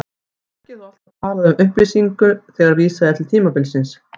Ekki er þó alltaf talað um upplýsingu þegar vísað er til tímabilsins.